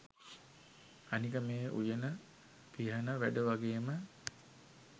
අනික මේ උයන පිහන වැඩ වගේම